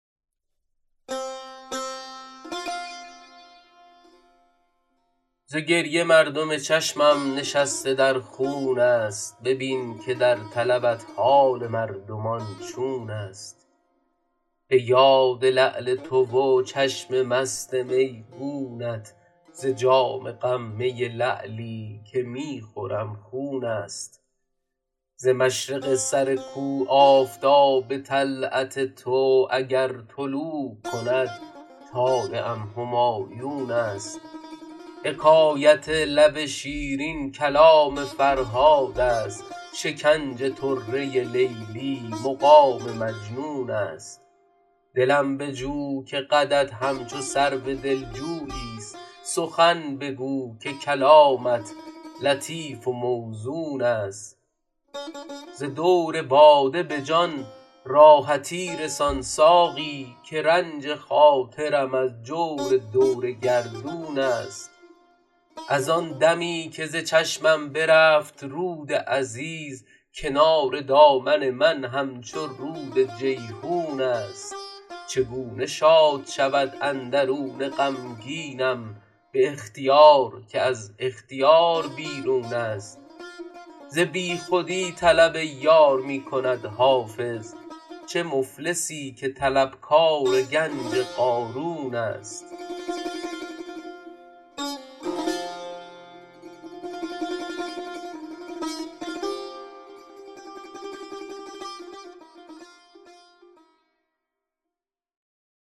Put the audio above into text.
ز گریه مردم چشمم نشسته در خون است ببین که در طلبت حال مردمان چون است به یاد لعل تو و چشم مست میگونت ز جام غم می لعلی که می خورم خون است ز مشرق سر کو آفتاب طلعت تو اگر طلوع کند طالعم همایون است حکایت لب شیرین کلام فرهاد است شکنج طره لیلی مقام مجنون است دلم بجو که قدت همچو سرو دلجوی است سخن بگو که کلامت لطیف و موزون است ز دور باده به جان راحتی رسان ساقی که رنج خاطرم از جور دور گردون است از آن دمی که ز چشمم برفت رود عزیز کنار دامن من همچو رود جیحون است چگونه شاد شود اندرون غمگینم به اختیار که از اختیار بیرون است ز بیخودی طلب یار می کند حافظ چو مفلسی که طلبکار گنج قارون است